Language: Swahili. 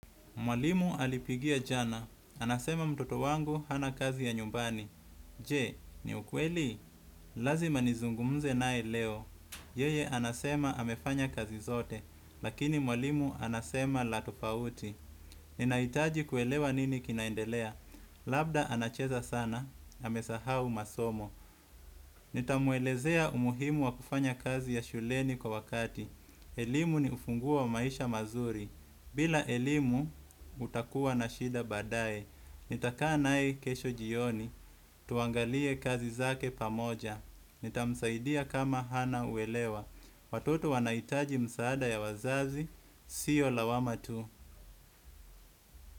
Mwalimu alipigia jana. Anasema mtoto wangu hana kazi ya nyumbani. Je, ni ukweli? Lazima nizungumze nae leo. Yeye anasema amefanya kazi zote lakini mwalimu anasema na tofauti. Ninaitaji kuelewa nini kinaendelea. Labda anacheza sana, amesahau masomo. Nitamuelezea umuhimu wa kufanya kazi ya shuleni kwa wakati. Elimu ni ufunguo wa maisha mazuri. Bila elimu utakuwa na shida badae, nitakaa nae kesho jioni, tuangalie kazi zake pamoja, nitamsaidia kama hana uelewa, watoto wanaitaji msaada ya wazazi, sio lawama tu.